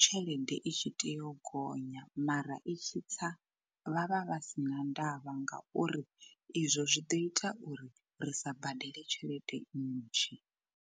tshelede i tshi tea u gonya mara i tshi tsa vhavha vha si na ndavha ngauri izwo zwi ḓo ita uri ri sa badele tshelede nnzhi.